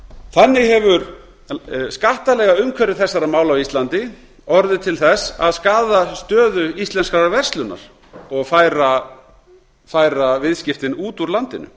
þannig hefur skattalegt umhverfi þessara mála á íslandi orðið til þess að skaða stöðu íslenskrar verslunar og færa viðskiptin út úr landinu